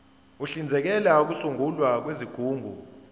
uhlinzekela ukusungulwa kwezigungu